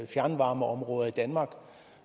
fjernvarmeområder i danmark